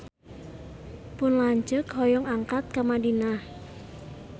Pun lanceuk hoyong angkat ka Madinah